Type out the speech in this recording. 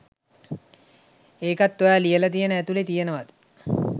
එකත් ඔයා ලියල තියෙන ඇතුලේ තියෙනවද